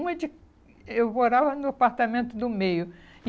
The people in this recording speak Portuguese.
Uma de... Eu morava no apartamento do meio.